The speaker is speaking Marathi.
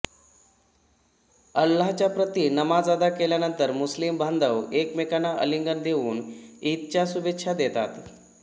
अल्लाच्या प्रती नमाज अदा केल्यानंतर मुस्लिम बांधव एकमेकांना आलिंगन देऊन ईदच्या शुभेच्छा देतात